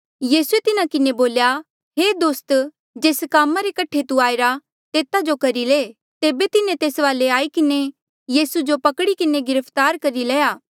यीसूए तिन्हा किन्हें बोल्या हे दोस्त जेस कामा रे कठे तू आईरा तेता जो करी ले तेबे तिन्हें तेस वाले आई किन्हें यीसू जो पकड़ी किन्हें गिरफ्तार करी लया